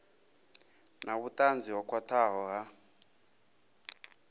na vhutanzi ho khwathaho ha